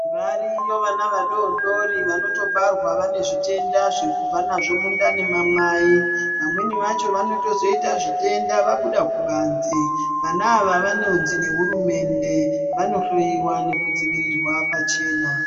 Variyo vana vadodoori vanotobarwa vane zvitenda zvekubva nazvo mundani mamai . Vamweni vacho vanotozoita zvitenda vabuda kubanze. Vana ava vanonzi nehurumende vanohloyiwa nekudzivirirwa pachena.